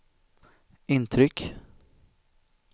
intryck